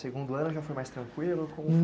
Segundo ano já foi mais tranquilo?